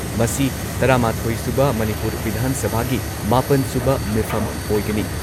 ꯃꯁꯤ ꯇꯔꯥ ꯃꯥꯊꯣꯏ ꯁꯨꯕ ꯃꯅꯤꯄꯨꯔ ꯚꯤꯙꯥꯟ ꯁꯚꯥꯒꯤ ꯃꯥꯄꯟ ꯁꯨꯕ ꯃꯤꯐꯝ ꯑꯣꯏꯒꯅꯤ ꯫